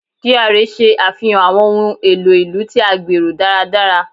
GRA ṣe afihan awọn ohun elo ilu ti a gbero daradara